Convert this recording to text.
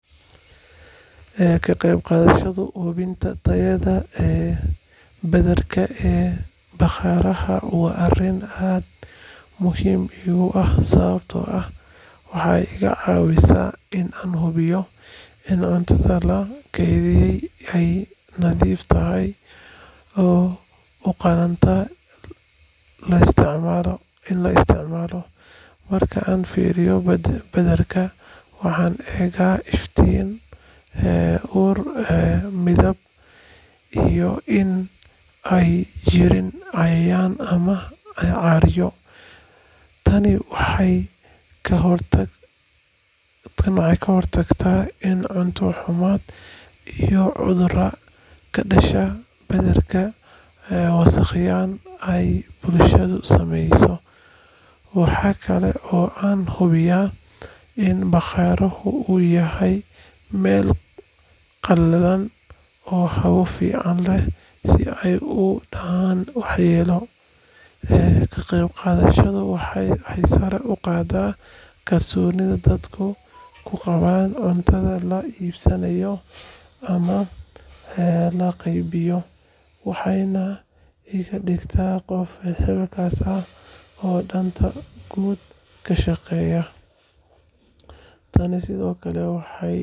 Ee kageb gadashadu hubinta tayada ee badarka ee bagaraha wa ariin aad muxiim igu ah sawabto ah, waxay igacawisa in an hubiyo in cuntada lakeydiye ay nadiif tahay, oo ugalanta in lasiticmalo marka an firiyo badarka wahan ega iftiin ee ur midab iyo i ay jitin cayayan ama carcaryo, taani waxay kahortagta in cunta humad iyo cudura kadasha badarka wasaq ay sameyso waxay kale oo an hubiya in baqaruhu uu yahay mel qalalan oo hawo fican leh, si ay udacan waxyelo ee kageb gadadhadu waxay sare ugada kalsonida dadka kugawan cuntada laibsanayo, ama ee lageybiyo wahayna igadigta gof qaas ah oo danta guud kashaqeya taani Sidhokale waxay.